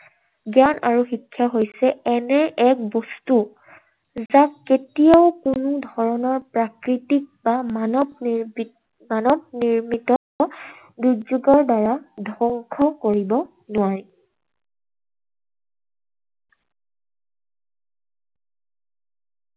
জ্ঞান আৰু শিক্ষা হৈছে এনে এক বস্তু, যাক কেতিয়াও কোনো ধৰণৰ প্ৰাকৃতিক মানৱ, মানৱ নিৰ্মিত দুৰ্যোগৰ দ্বাৰা ধ্বংস কৰিব নোৱাৰি।